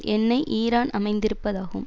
எண்ணெய் ஈரான் அமைந்திருப்பதாகும்